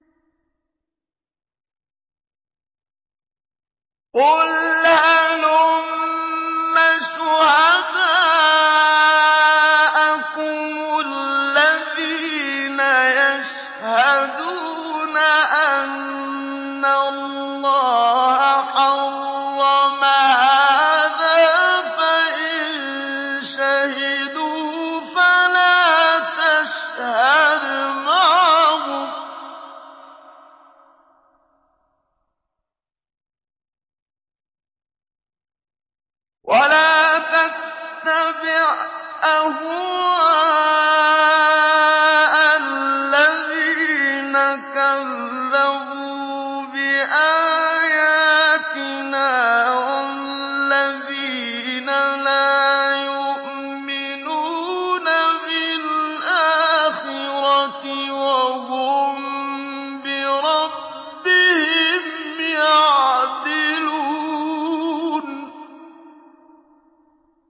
قُلْ هَلُمَّ شُهَدَاءَكُمُ الَّذِينَ يَشْهَدُونَ أَنَّ اللَّهَ حَرَّمَ هَٰذَا ۖ فَإِن شَهِدُوا فَلَا تَشْهَدْ مَعَهُمْ ۚ وَلَا تَتَّبِعْ أَهْوَاءَ الَّذِينَ كَذَّبُوا بِآيَاتِنَا وَالَّذِينَ لَا يُؤْمِنُونَ بِالْآخِرَةِ وَهُم بِرَبِّهِمْ يَعْدِلُونَ